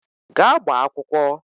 Gaa gbaa akwụkwọ!